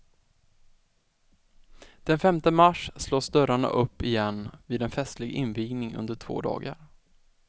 Den femte mars slås dörrarna upp igen vid en festlig invigning under två dagar.